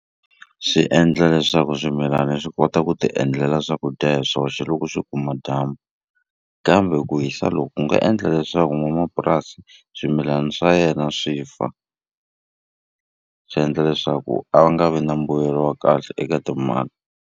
Swi endla leswaku swimilani swi kota ku ti endlela swakudya hi swoxe loko swi kuma dyambu kambe ku hisa loku ku nga endla leswaku n'wanamapurasi swimilana swa yena swi fa swi endla leswaku a va nga vi na mbuyelo wa kahle eka timali.